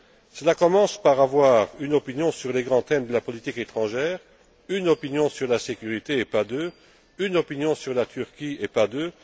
Cela commence par le fait d'avoir une opinion sur les grands thèmes de la politique étrangère, une opinion sur la sécurité et pas deux, une opinion sur la Turquie et pas deux.